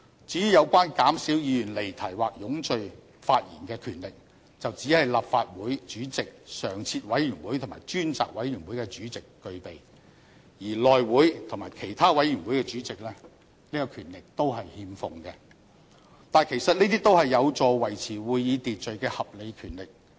至於有關減少議員離題或冗贅發言的權力，則只是立法會主席、常設委員會及專責委員會的主席具備，而內務委員會及其他委員會的主席則欠奉這個權力，但其實這些都是有助維持會議秩序的合理權力。